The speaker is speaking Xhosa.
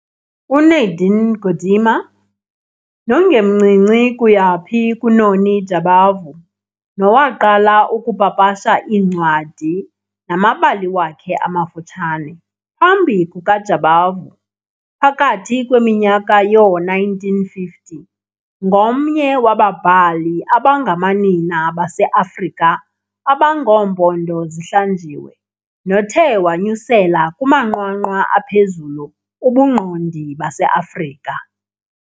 UNadine Gordimer, nongemncinci kuyaphi kuNoni Jabavu nowaqala ukupapasha iincwadi namabali wakhe amafutshane phambi kukaJabavu phakathi ngeminyaka yoo-1950, ngomnye wobabhali abangamanina baseAfrika abangoompondo zihlanjiwe nothe wanyusela kumanqwanqwa aphezulu ubungqondi baseAfrika.